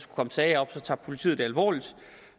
komme sager op tager politiet det alvorligt